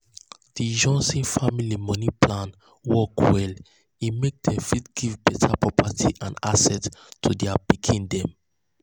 di johnson family money plan work well e make dem fit give better property and assets to their pikins dem.